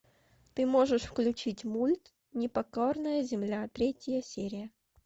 ты можешь включить мульт непокорная земля третья серия